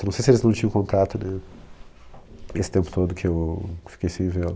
Eu não sei se eles não tinham contato, né, esse tempo todo que eu fiquei sem vê-lo.